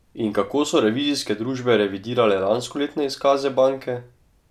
In kako so revizijske družbe revidirale lanskoletne izkaze banke?